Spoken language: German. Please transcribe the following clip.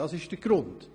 Dies ist der Grund.